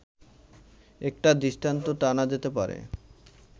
একটা দৃষ্টান্ত টানা যেতে পারে